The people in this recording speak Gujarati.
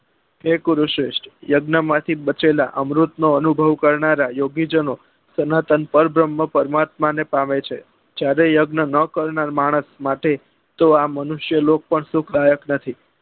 કે ગુરુશ્રેષ્ઠ યજ્ઞ માંથી બચેલા અમૃત નો અનુભવ કરનારા યોગી જનો સનાતન પર ભ્ર્મ્હા પરમાત્મા ને પામે છે જ્યારે યજ્ઞ નાં કરનાર માણસ માટે તો આં મનુષ્ય લોક પણ સુખ દાયક નથી